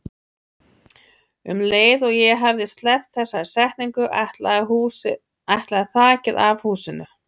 Um leið og ég hafði sleppt þessari setningu ætlaði þakið af húsinu.